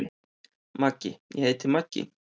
Maggi: Ég heiti Maggi.